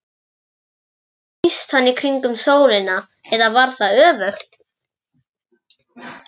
Síðan snýst hann í kringum sólina, eða var það öfugt?